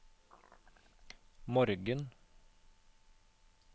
morgen